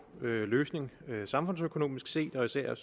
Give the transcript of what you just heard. løsning samfundsøkonomisk set og især